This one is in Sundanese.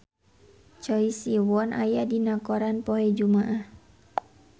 Choi Siwon aya dina koran poe Jumaah